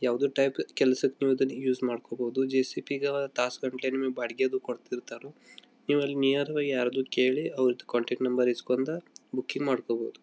ಯಾವದೋ ಟೈಪ್ ಕೆಲಸಕ್ಕೆ ನೀವ ಇದನ್ನ ಯೂಸ್ ಮಾಡಕೋಬಹುದು ಜೆ_ಸಿ_ಬಿ ಬಾಡಿಗೆಗೆ ಕೊಡತಿರತಾರೋ ನೀವ ಅಲ್ಲಿನಿಯರ್ ದಗಾ ಯಾರದೋ ಕೇಳಿ ಅವರದ ಕಾಂಟೆಕ್ಟ್ ನಂಬರ್ ಇಸ್ಕೊಂಡ ಬುಕಿಂಗ್ ಮಾಡಕೋಬಹುದು.